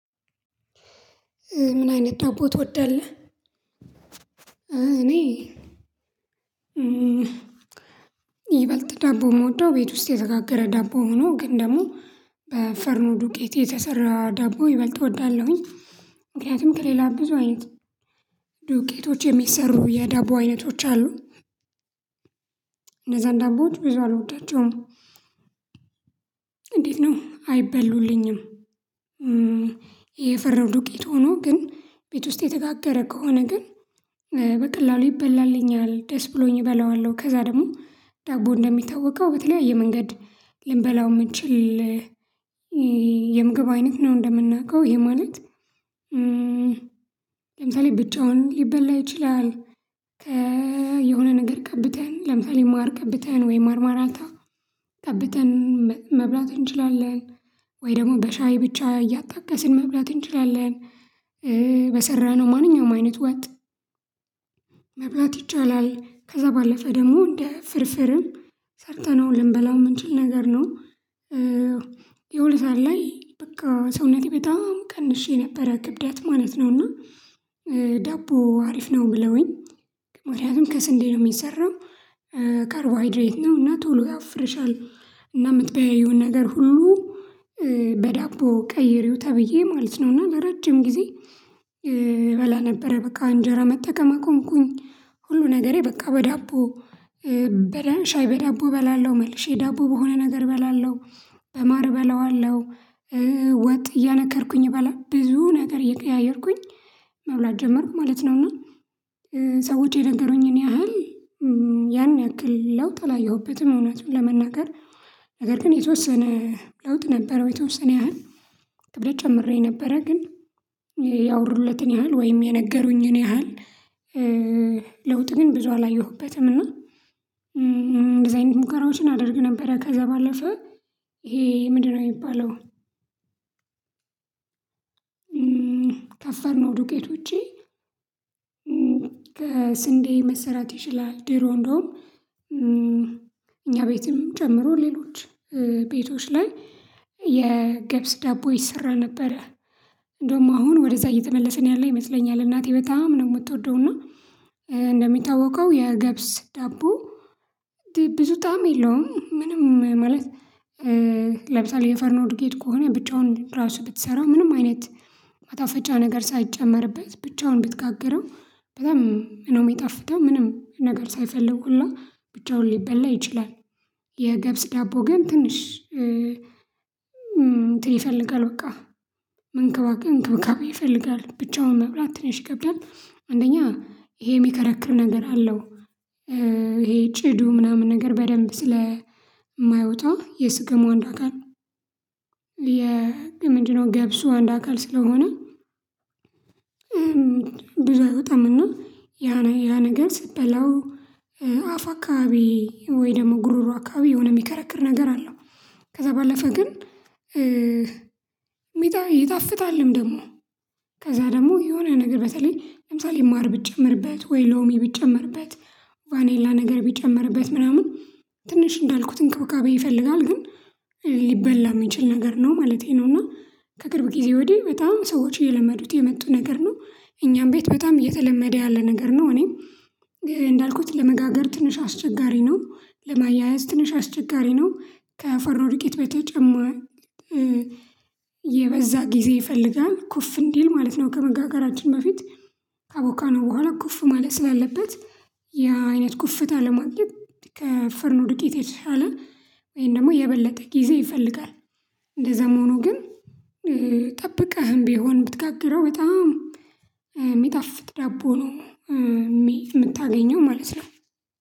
ምን አይነት ዳቦ ትወዳለህ? እኔ ይበልጥ ዳቦ የምወደው ቤት ውስጥ የተጋገረ ዳቦ ሆኖ ግን ደግሞ በፍርኖ ዱቄት የተሰራ ዳቦ ይበልጥ እወዳለሁኝ። ምክንያቱም ከሌላ ብዙ አይንት ዱቄቶች የሚሰሩ የዳቦ አይነቶች አሉ። እነዛን ዳቦዎች ብዙ አልወዳቸውም። እንዴት ነው አይበሉልኝም። የፍርኖ ዱቄት ሆኖ ግን ቤት ውስጥ የተጋገረ ከሆነ ግን በቀላሉ ይበላልኛል ደስ ብሎኝ እበላዋለሁ። ከዛ ደግሞ ዳቦ እንደሚታወቀው በተለያየ መንገድ ልንበላው የምንችል የምግብ አይነት ነው። እንደምናውቀው ይሄ ማለት ለምሳሌ ብቻውን ሊበላ ይችላል። የሆነ ነገር ቀብተን ለምሳሌ ማር ቀብተን ወይ ማርማራታ ቀብተን መብላት እንችላለን። ወይ ደግሞ በሻይ ብቻ እያጣቀስን መብላት እንችላለን። በሰራነው ማንኛውም አይነት ወጥ መብላት ይቻላል ከዛ ባለፈ ደግሞ እንደ ፍርፍርም ሰርተነው ልንበላው የምንችል ነገር ነው። የሆነ ሰዓት ላይ በቃ ሰውነቴ በጣም ቀንሼ የነበረ ክብደት ማለት ነው። እና ዳቦ አሪፍ ነው ብለውኝ ምክንያቱም ከስንዴ ነው የሚሰራው ካርቦሃይድሬት ነው እና ቶሎ ያወፍርሻል። እና ምትበይውን ነገር ሁሉ በዳቦ ቀይሪው ተብዬ ማለት ነው። እና ለረጅም ጊዜ እበላ ነበረ በቃ እንጀራ መጠቀም አቆምኩኝ ሁሉ ነገሬ በቃ በዳቦ። ሻይ በዳቦ እበላለሁ መልሼ ዳቦ በሆነ ነገር እበላለሁ በማር እበላዋለሁ። ወጥ እያነከርኩኝ እበላ ብዙ ነገር እየቀያየርኩኝ መብላት ጀመርኩ ማለት ነው። እና ሰዎች የነገሩኝን ያህል ያን ያክል ለውጥ አላየሁበትም። እውነቱን ለመናገር ነገር ግን የተወሰነ ለውጥ ነበረው። የተወሰነ ያህል ክብደት ጨምሬ ነበረ ግን ያወሩለትን ያህል ወይም የነገሩኝን ያህል ለውጥ ግን ብዙ አላየሁበትም። እና እንደዚህ አይነት ሙከራዎችን አድርግ ነበር። ከዛ ባለፈ ይሄ ምንድነው የሚባለው አይባለውም? ከፍርኖ ዱቄት ውጪ ከስንዴ መሰራት ይችላል። ድሮ እንደውም እኛ ቤትም ጨምሮ ሌሎች ቤቶች ላይ የገብስ ዳቦ ይሰራ ነበረ። እንደውም አሁን ወደዛ እየተመለስን ያለ ይመስለኛል። እናቴ በጣም ነው የምትወደውና እንደሚታወቀው የገብስ ዳቦ ብዙ ጣዕም የለውም። ምንም ማለት ለምሳሌ የፍርኖ ዱቄት ከሆነ ብቻውን ራሱ ብትሰራ ምንም አይነት ማጣፈጫ ነገር ሳይጨመርበት ብቻውን ብትጋግረው ነው የሚጣፍጠው ምንም ነገር ሳይፈልጉ ሁላ ብቻውን ሊበላ ይችላል። የገብስ ዳቦ ግን ትንሽ እንትን ይፈልጋል በቃ እንክብካቤ ይፈልጋል ብቻውን መብላት ትንሽ ይከብዳል አንደኛ ይሄ የሚከረክር ነገር አለው። ይሄ ጭዱ ምናምን ነገር በደንብ ስለማይወጣ የስገሙ አንዱ አካል ነው ምንድነው ገብሱ አንድ አካል ስለሆነ። ብዙ አይወጣም። እና ያ ያ ነገር ስትበላው አፍ አካባቢ ወይ ደግሞ ጉርሩ አካባቢ የሆነ የሚከረክር ነገር አለው። ከዛ ባለፈ ግን ይጣፍጣልም። ደግሞ ከዛ ደግሞ የሆነ ነገር በተለይ ለምሳሌ ማር ብጨመርበት ወይ ሎሚ ብጨመርበት ቫኔላ ነገር ቢጨመርበት ምናምን ትንሽ እንዳልኩት እንቅብቃቤ ይፈልጋል ግን ሊበላ የሚችል ነገር ነው። ማለቴ ነውና ከቅርብ ጊዜ ወዲህ በጣም ሰዎች እየለመዱት የመጡ ነገር ነው። እኛም ቤት በጣም እየተለመደ ያለ ነገር ነው። እኔ እንዳልኩት ለመጋገር ትንሽ አስቸጋሪ ነው። ለማያያዝ ትንሽ አስቸጋሪ ነው። ከፍርኖ ዱቄት የበዛ ጊዜ ይፈልጋል ኩፍ እንዲል ማለት ነው። ከመጋጋራችን በፊት ካቦካነው በኋላ ኩፍ ማለት ስላለበት። ያ አይነት ኩፍታ ለማግኘት ከፈርኖ ድቂት የተሻለ ወይም ደግሞ የበለጠ ጊዜ ይፈልጋል። እንደዛም ሆኖ ግን ጠብቀህም ቢሆን ብትጋግረው በጣም የሚጣፍጥ ዳቦ ነው። የምታገኘው ማለት ነው።